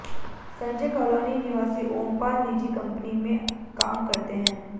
Sanjay colony निवासी ओमपाल निजी company में काम करते हैं